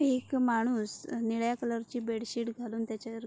एक माणुस निळ्या कलर ची बेडशीट घालुन त्याच्यावर--